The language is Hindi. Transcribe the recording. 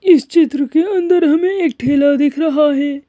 इस चित्र के अंदर हमें एक ठेला दिख रहा है।